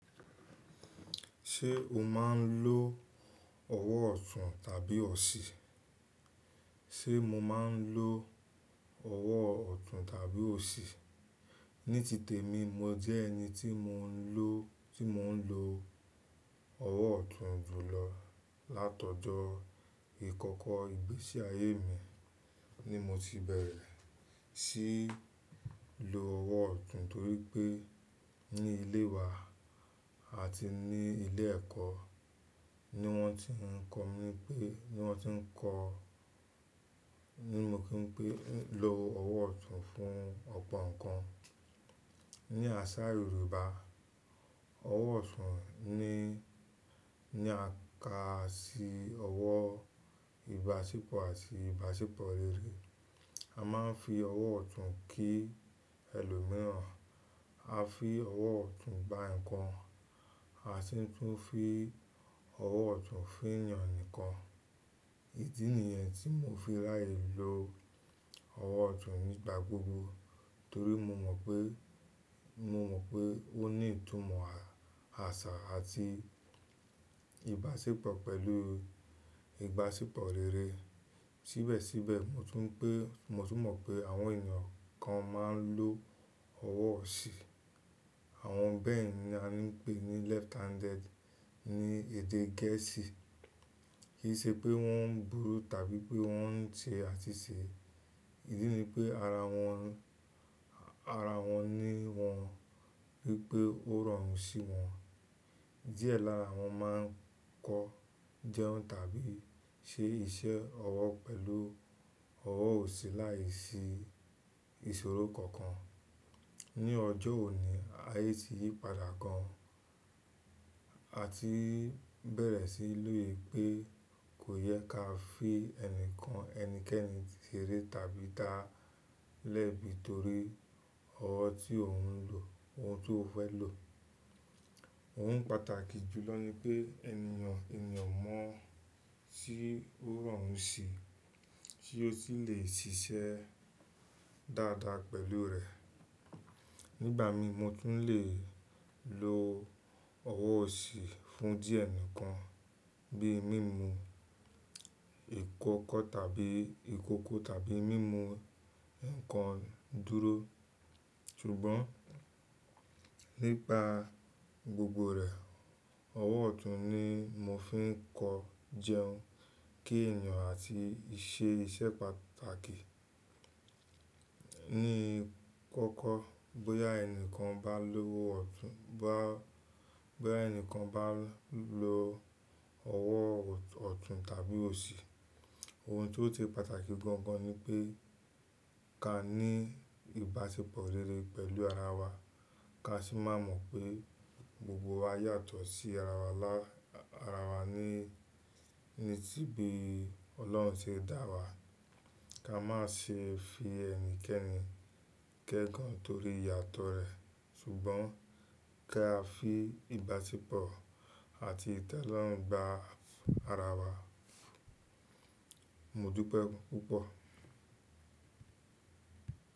Ṣé o máa ń lo ọwọ́ ọ̀tún tàbí ọ̀ṣí? Ṣé mo máa ń lo ọwọ́ ọ̀tún tàbí ọ̀ṣí? Ní tìtẹ̀ mi, mo jẹ́ ẹni tí mò ń lo, tí mò ń lo ọwọ́ ọ̀tún jùlọ. Látọ̀jọ́ ìkọ́kọ́ ìgbésí ayé mi ni mo ti bẹ̀rẹ̀ sí í lo ọwọ́ ọ̀tún torí pé ní ilé wa àti ní ilé ẹ̀kọ́ ni wọ́n ti ń kọ̀ mí pé, ni wọ́n ti ń kọ̀ ní mo kí n pé lo ọwọ́ ọ̀tún fún ọ̀pọ̀ nǹkan. Ni àṣà Yorùbá, ọwọ́ ọ̀tún ní, ní à ká sí ọwọ́ ìbáṣepọ̀ àti ìbáṣepọ̀ rere. A máa ń fi ọwọ́ ọ̀tún kí ẹlòmíràn, a fi ọwọ́ ọ̀tún gba nǹkan, a sì n tún fi ọwọ́ ọ̀tún feeyàn nì nkan. Idí nìyẹn tí mo fi ráyè lo ọwọ́ ọ̀tún nígbà gbogbo torí mo mọ̀ pé, mo mọ̀ pé ó ní ìtumọ̀ àṣà àti ìbáṣepọ̀ pẹ̀lú ìbáṣepọ̀ rere. Síbẹ̀síbẹ̀, mo tún pé, mo tún mọ̀ pé àwọn èeyàn kan máa ń lo ọwọ́ oṣí. Àwọn bẹ́ẹ̀ ni a n pè ní left-handed ní èdè Gẹ̀ẹ́sì. Kì í ṣe pé wọ́n burú tàbí pé wọ́n ń ṣe àsìsẹ̀. Èyí ni pé ara wọn, ara wọn ní wọ́n wípé ó rọrùn sí wọn. Díẹ̀ lára wọn máa ń kọ jẹun tàbí ṣe iṣẹ́ ọwọ́ pẹ̀lú ọwọ́ ọ̀ṣí láìsí ìṣòro kankan. Ni ọjọ́ òní, ayé ti yí padà gan. A ti bẹ̀rẹ̀ sí í lù yìn pé kò yẹ ká fi ẹnikan ẹnikẹ́ni sere tàbí da lẹ́bi torí ọwọ́ tí òun ń lò, ohun tó fẹ́ lò. Ohun pàtàkì jùlọ ni pé ènìyàn, ènìyàn mọ̀ tí ó rọrùn sí, tí ó sì le ṣiṣẹ́ dáadáa pẹ̀lú rẹ̀. Nígbà mii, mo tún le lo ọwọ́ osí fún díẹ̀ ǹkan bí i mímú ìkọ́kọ́ tàbí ìkókó tàbí mímú nǹkan dúró. Ṣùgbọ́n nípa gbogbo rẹ̀, ọwọ́ ọ̀tún ni mo fi ń kọ jẹun, kí ènìyàn àti ṣe iṣẹ́ pàtàkì. Ní kọ́kọ́, bóyá ẹnìkan bá lowọ́ ọ̀tún, bá, bóyá ẹnìkan bá lo ọwọ́ ọ̀tún tàbí osí, ohun tó ti pàtàkì gan gan ni pé ká ní ìbáṣepọ̀ rere pẹ̀lú ara wa. Ká sì má mọ̀ pé gbogbo wa yàtọ̀ sí ara wa lá, ara wa ní, ní tí bi Ọlọ́run ṣe dá wa. Ka má ṣe fi ẹnikẹ́ni gégun torí ìyàtọ̀ rẹ̀, ṣùgbọ́n ki á fi ìbáṣepọ̀ àti ìtẹ́lọ́rùn gba ara wa. Mo dúpẹ́ púpọ̀.